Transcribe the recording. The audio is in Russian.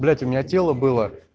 блять у меня тело было